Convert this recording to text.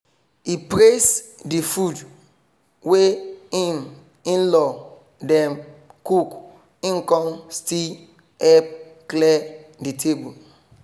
e praise de food wey im in-law dem cook im kon still help clear the table